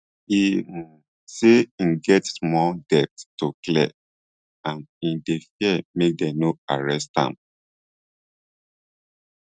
e um say im get small debts to clear and im dey fear make dem no arrest am